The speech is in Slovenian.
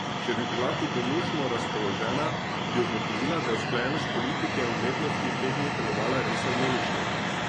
Če bi bila hudomušno razpoložena, bi ugotovila, da je usklajenost politike in umetnosti te dni delovala res harmonično.